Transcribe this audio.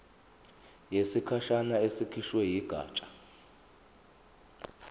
yesikhashana ekhishwe yigatsha